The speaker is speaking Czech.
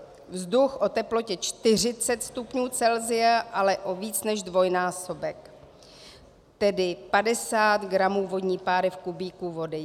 Vzduch o teplotě 40 stupňů Celsia ale o víc než dvojnásobek, tedy 50 gramů vodní páry v kubíku vody.